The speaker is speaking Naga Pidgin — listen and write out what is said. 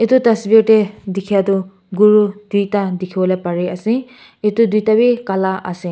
etu tasver te dekha tu guru duita dekhi bole pari ase etu duita bhi kala ase.